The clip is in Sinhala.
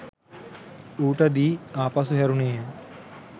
ඌට දී ආපසු හැරුනේ ය.